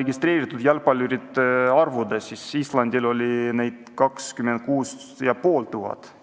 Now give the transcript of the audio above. registreeritud jalgpallurite arvust, siis Islandil oli neid 26 500.